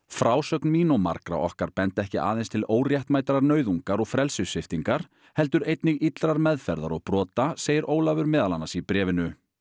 frásögn mín og margra okkar benda ekki aðeins til óréttmætrar nauðungar og frelsissviptingar heldur einnig illrar meðferðar og brota segir Ólafur meðal annars í bréfinu